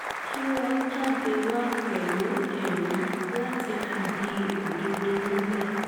kí wọ́n jáde wá pẹ̀lú ẹ̀rí láti fìdí òdodo múlẹ̀